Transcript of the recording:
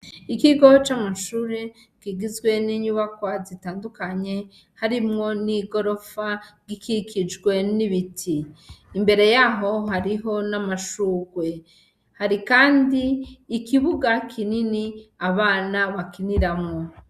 Ikigo c'amashure kigizwe ninyubakwa zitandukanye harimwo n'igorofa ikikijwe n'ibiti imbere yaho hariho n'amashurwe hari kandi ikibuga kinini abana bakiniramwo.